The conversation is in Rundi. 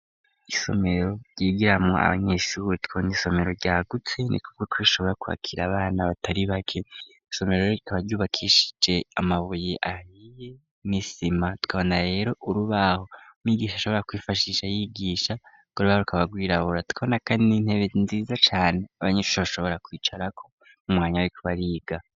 Isomero ryigiramwo abanyeshuwe twonya isomero ryagutse ni kubwo twishobora kwbakira abana batari bake isomero ro gikabaryubakishije amabuye ahiye misima twabona rero urubaho migisha ashobora kwifashisha yigisha goreba rukabagwirabbura twabona, kandi n'intebe nziza cane abanyecuho bashobora kwia carako umwanya wri kuba ariga.